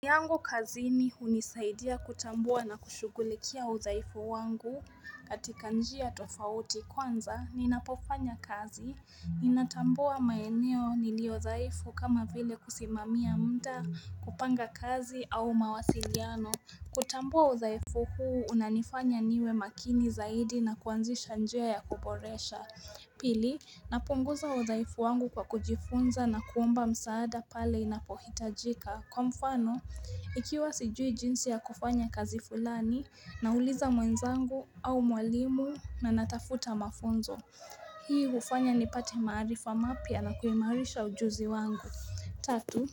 Yangu kazini hunisaidia kutambua na kushugulikia udhaifu wangu katika njia tofauti kwanza ninapofanya kazi, ninatambua maeneo niliodhaifu kama vile kusimamia muda kupanga kazi au mawasiliano. Kutambua udhaifu huu unanifanya niwe makini zaidi na kuanzisha njia ya kuboresha. Pili, napunguza udhaifu wangu kwa kujifunza na kuomba msaada pale inapohitajika. Kwa mfano, ikiwa sijui jinsi ya kufanya kazi fulani, nauliza mwenzangu au mwalimu na natafuta mafunzo. Hii hufanya nipate maarifa mapya na kuimarisha ujuzi wangu. Tatu,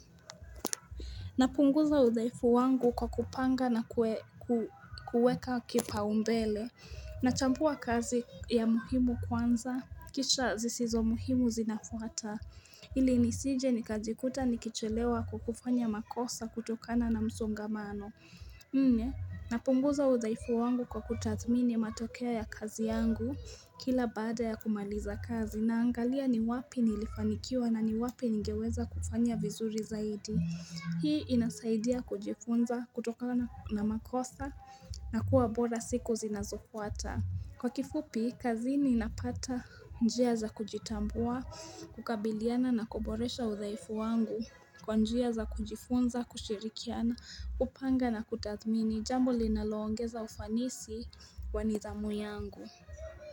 napunguza udhaifu wangu kwa kupanga na kuweka kipaumbele. Nachambua kazi ya muhimu kwanza, kisha zisizo muhimu zinafwata. Ili nisije nikajikuta nikichelewa kukufanya makosa kutokana na msongamano. Nne, napunguza udhaifu wangu kwa kutadhmini matokea ya kazi yangu kila bada ya kumaliza kazi naangalia ni wapi nilifanikiwa na ni wapi nigeweza kufanya vizuri zaidi. Hii inasaidia kujifunza kutokana na makosa na kuwa bora siku zinazofuata. Kwa kifupi, kazini napata njia za kujitambua, kukabiliana na kuboresha udhaifu wangu. Kwa njia za kujifunza, kushirikiana, kupanga na kutathmini, jambo linaloongeza ufanisi wa nithamu yangu.